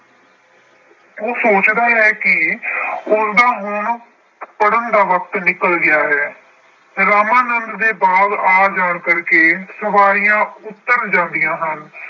ਉਹ ਸੋਚਦਾ ਹੈ ਕਿ ਉਸਦਾ ਹੁਣ ਪੜ੍ਹਨ ਦਾ ਵਕਤ ਨਿਕਲ ਗਿਆ ਹੈ। ਰਾਮਾਨੰਦ ਦੇ ਬਾਗ ਆ ਜਾਣ ਕਰਕੇ ਸਵਾਰੀਆਂ ਉੱਤਰ ਜਾਂਦੀਆਂ ਹਨ।